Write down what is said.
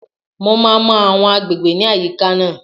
Mo máa mọ àwọn agbègbè ní àyíká náà